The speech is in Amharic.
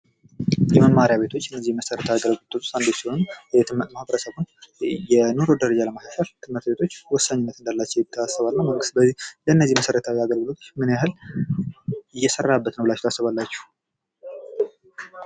የመማሪያ ቤቶች እነዚህ ከመሰረታዊ የአገልግሎቶች ውስጥ አንዱ ሲሆኑ የትምህርት ማህበረሰቡን የኑሮ ደረጃ ለማሻሻል ትምህርት ቤቶች ወሳኝነት እንዳላቸው ይታሰባልና መንግስት ለእነዚህ መሰረታዊ አገልግሎቶች ምን ያህል እየሰራባቸው ነው ብላችሁ ታስባላችሁ?